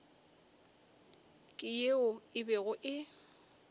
ke yeo e bego e